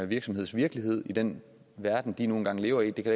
virksomhedens virkelighed i den verden den nu engang lever i det kan